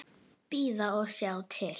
Bíða og sjá til.